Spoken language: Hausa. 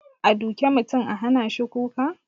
A duke mutum a hanashi kuka?